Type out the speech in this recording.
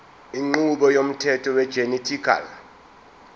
inqubo yomthetho wegenetically